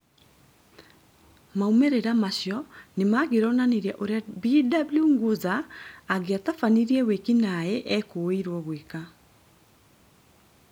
Maumĩrĩra macio nĩmangĩronanirie ũrĩa Bw Nguza angĩatabanirie wĩki naĩ ekũirwo gwĩka